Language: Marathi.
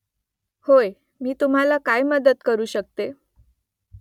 होय . मी तुम्हाला काय मदत करू शकते ?